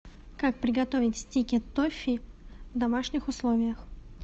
как приготовить стики тоффи в домашних условиях